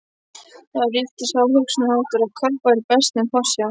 Þar ríkti sá hugsunarháttur, að kapp væri best með forsjá.